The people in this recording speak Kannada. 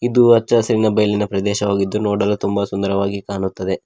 ಇದು ಅಚ್ಚ ಹಸಿರಿನ ಬಯಲಿನ ಪ್ರದೇಶವಾಗಿದ್ದು ನೋಡಲು ತುಂಬಾ ಸುಂದರವಾಗಿ ಕಾಣುತ್ತದೆ.